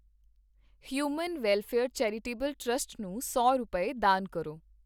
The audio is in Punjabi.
ਹਿਊਮਨ ਵੈਲਫ਼ੇਅਰ ਚੈਰੀਟੇਬਲ ਟ੍ਰਸਟ ਨੂੰ ਸੌ ਰੁਪਏ, ਦਾਨ ਕਰੋ